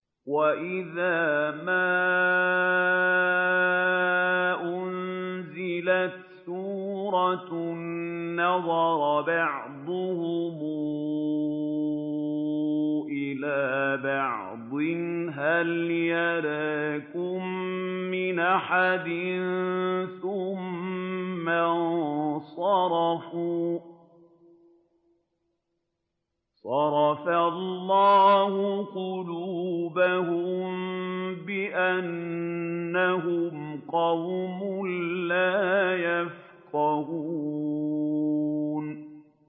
وَإِذَا مَا أُنزِلَتْ سُورَةٌ نَّظَرَ بَعْضُهُمْ إِلَىٰ بَعْضٍ هَلْ يَرَاكُم مِّنْ أَحَدٍ ثُمَّ انصَرَفُوا ۚ صَرَفَ اللَّهُ قُلُوبَهُم بِأَنَّهُمْ قَوْمٌ لَّا يَفْقَهُونَ